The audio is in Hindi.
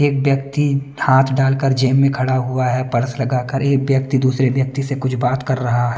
एक व्यक्ति हाथ डालकर जेब में खड़ा हुआ है पर्स लगाकर एक व्यक्ति दूसरे व्यक्ति से कुछ बात कर रहा है।